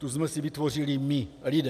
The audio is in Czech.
Tu jsme si vytvořili my lidé.